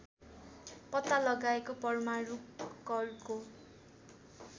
पत्ता लगाएको परमाणु कणको